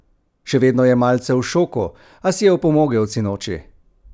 Še vedno je malce v šoku, a si je opomogel od sinoči!